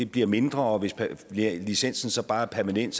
bliver mindre og hvis licensen så bare er permanent